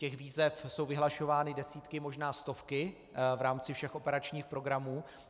Těch výzev jsou vyhlašovány desítky, možná stovky v rámci všech operačních programů.